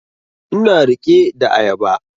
Ina riƙe da ayaba